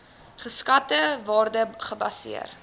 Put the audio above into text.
geskatte waarde gebaseer